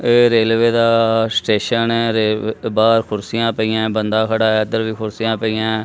ਇਹ ਰੇਲਵੇ ਦਾ ਸਟੇਸ਼ਨ ਐ ਬਾਹਰ ਕੁਰਸੀਆਂ ਪਈਆਂ ਬੰਦਾ ਖੜਾ ਇਧਰ ਵੀ ਕੁਰਸੀਆਂ ਪਈਆਂ--